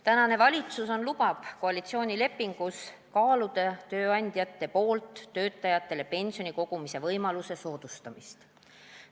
Tänane valitsus lubas koalitsioonilepingus kaaluda tööandjate poolt töötajatele pensioni kogumise võimaluse soodustamist.